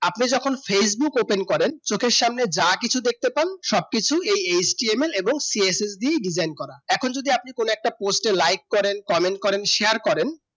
আপনি যখন facebook open করেন চোখের সামনে যা কিছু দেখতে পান সবকিছু এই HTML এবং CSSDdesign করা এখন যদি আপনি কোন একটা post এর like করেন comment করেন share করেন